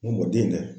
N b'o denkɛ